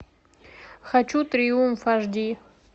хочу триумф аш ди